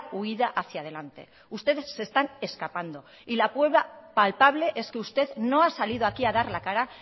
huída hacía delante ustedes se están escapando y la prueba palpable es que usted no ha salido aquí a dar la cara